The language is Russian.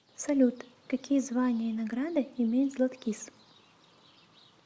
салют какие звания и награды имеет златкис